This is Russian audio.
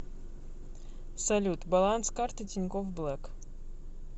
салют баланс карты тинькофф блэк